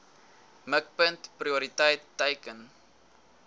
mikpunt prioriteit teiken